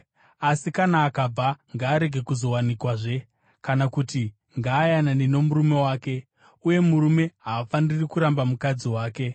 Asi kana akabva, ngaarege kuzowanikwazve, kana kuti ngaayanane nomurume wake. Uye murume haafaniri kuramba mukadzi wake.